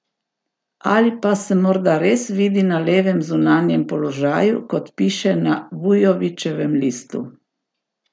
Ali pa se morda res vidi na levem zunanjem položaju, kot piše na Vujovićevem listu?